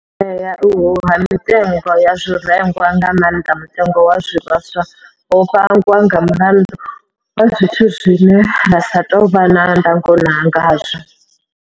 Dzea uhu ha mitengo ya zwirengwa, nga maanḓa mutengo wa zwivhaswa, ho vhangwa nga mulandu wa zwithu zwine ra sa tou vha na ndango khazwo.